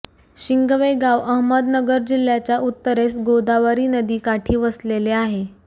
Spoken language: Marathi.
शिंगवे गाव अहमदनगर जिल्ह्याच्या उत्तरेस गोदावरी नदीकाठी वसलेले आहे